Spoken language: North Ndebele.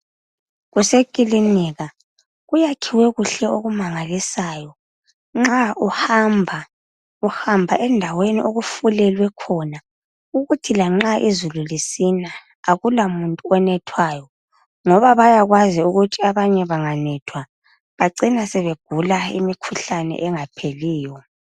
Kuseklinika kuyakhiwe kuhle okumangalisayo nxa uhamba uhamba endaweni okufulelwe khona lanxa izulu lisina okulamuntu onethwayo ngoba bayakwazi ukuthi abanye bacina sebegula imikhuhlane engapheliyo.